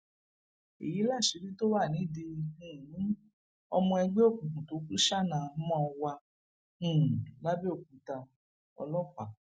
èyí láṣìírí tó wà nídìí um ọmọ ẹgbẹ òkùnkùn tó kù ṣanaʹamọ wà um làbẹòkúta ọlọpàá